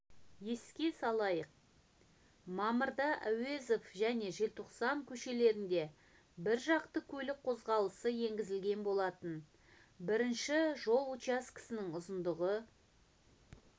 еске салайық мамырда әуезов және желтоқсан көшелерінде біржақты көлік қозғалысы енгізілген болатын бірінші жол учаскесінің ұзындығы